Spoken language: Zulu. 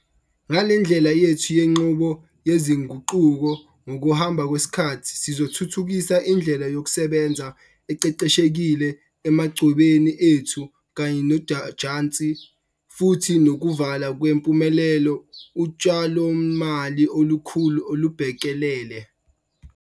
Ngale ndlela yethu yenqubo yezinguquko ngokuhamba kwesikhathi sizothuthukisa indlela yokusebenza eqeqeshekile emachwebeni ethu kanye nojantshi futhi nokuvula ngempumelelo utshalomali olukhulu olubhekelele.